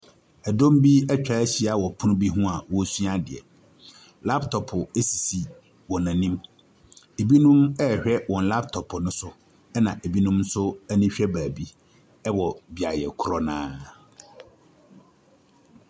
Ɛdɔm bi ɛtwahyia wɔ pono bi ho a wɔresua adeɛ. Laptop esisi wɔnim. Ebinom ɛrehwɛ wɔn laptop no so. Ebinom nso ani hwɛ baabi ɛwɔ beaeɛ korɔ naa.